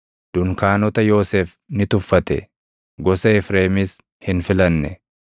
Dunkaanota Yoosef ni tuffate; gosa Efreemis hin filanne;